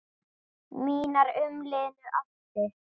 Mínar umliðnu ástir